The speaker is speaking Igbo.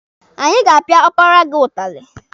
Anyị ga-apịa ọpara gị ụtalị.